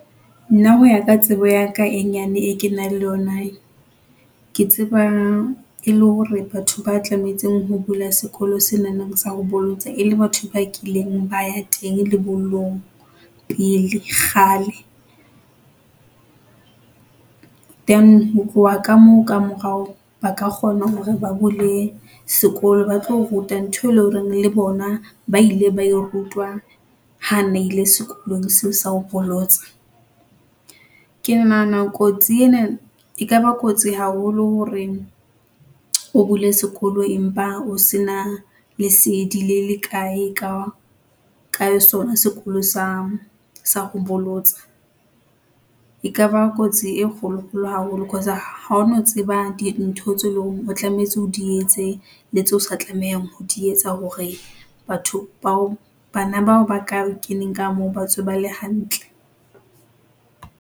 Nna ho ya ka tsebo ya ka e nyane e ke nang le yona. Ke tseba e le hore batho ba tlametseng ho bula sekolo sena sa ho bolotsa e le batho ba kileng ba ya teng lebollong pele kgale. Then ho tloha ka moo ka morao ba ka kgona hore ba bule sekolo, ba tlo ruta ntho e len hore le bona ba ile ba e rutwa ha na ile sekolong seo sa ho bolotsa. Ke nahana kotsi ena e ka ba kotsi haholo horeng o bule sekolo empa o se na lesedi le le kae ka, ka sona sekolo sa, sa ho bolotsa. E ka ba kotsi e kgolokgolo haholo cause ha ono tseba dintho tse leng hore o tlametse o di etse le tseo sa tlamehang ho di etsa hore batho bao, bana bao ba ka keneng ka moo ba tswe ba le hantle.